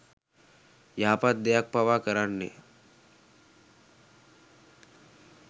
යහපත් දෙයක් පවා කරන්නේ